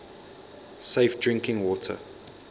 safe drinking water